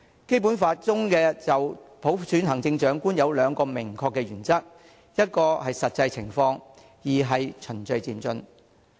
"《基本法》中就普選行政長官有兩個明確的原則，一是根據實際情況，二是循序漸進。